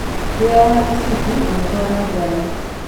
Wĩyohe mũcĩbĩ ũgĩtwara ngarĩ.